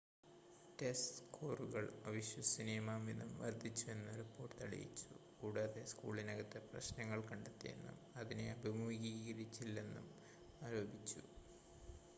test സ്‌കോറുകൾ അവിശ്വസനീയമാംവിധം വർദ്ധിച്ചുവെന്ന് റിപ്പോർട്ട് തെളിയിച്ചു കൂടാതെ സ്കൂളിനകത്ത് പ്രശ്നങ്ങൾ കണ്ടെത്തിയെന്നും അതിനെ അഭിമുഖീകരിച്ചില്ലെന്നും ആരോപിച്ചു